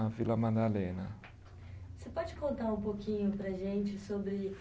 Na Vila Madalena. Você pode contar um pouquinho para a gente sobre